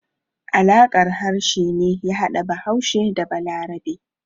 Alaƙar harshe ne ya hada Bahaushe da Balarabe.